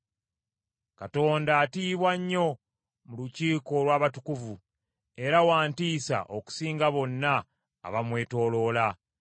Katonda atiibwa nnyo mu lukiiko olw’abatukuvu; era wa ntiisa okusinga bonna abamwetooloola.